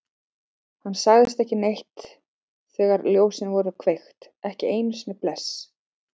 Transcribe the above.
Hann sagði ekki neitt þegar ljósin voru kveikt, ekki einu sinni bless.